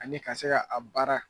Ani ka se ka a baara